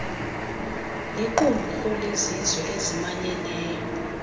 liqumrhu lezizwe ezimanyeneyo